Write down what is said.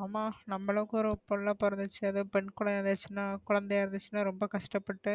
ஆமா நமளுக்கும் ஒரு புள்ள பொறந்துசுன அதும் பெண் குழந்தையா இருதுசுன்ன ரொம்ப கஷ்ட பட்டு